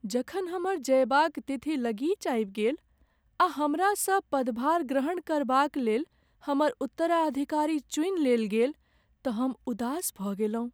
जखन हमर जयबाक तिथि लगीच आबि गेल आ हमरासँ पदभार ग्रहण करबाक लेल हमर उत्तराधिकारीक चुनि लेल गेल तऽ हम उदास भऽ गेलहुँ।